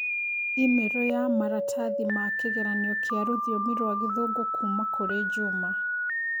i-mīrū ya maratathi ma kĩgeranio kĩa rũthiomi rwa Gĩthũngũ kũũma kũrĩ Juma